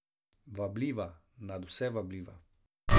Vabljiva, nadvse vabljiva.